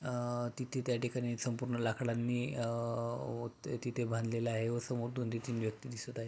अ तिथे त्या ठिकाणी संपूर्ण लकडांनी अ व तिथे बांधलेले आहे व समोर दोन ते तीन व्यक्ति दिसत आहे.